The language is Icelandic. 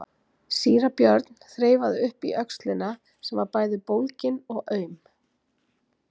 Síra Björn þreifaði upp í öxlina sem var bæði bólgin og aum.